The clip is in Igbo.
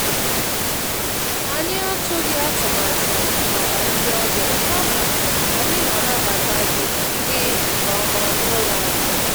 Anyị atụghị atụmatụ màkà ndị ọbịa, kama anyị na-anabata gị gị nke ọma n'ụlọ anyị.